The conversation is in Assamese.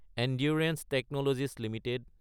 endurance technologies Ltd